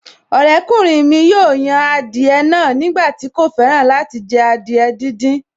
Ọ̀rẹ́kùnrin mi yóò yan adìẹ náà nígbà tí kò fẹ́ràn láti jẹ adìẹ díndín